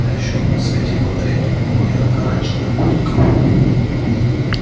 а ещё в свете фонарей мелькнула ярко-оранжевая куртка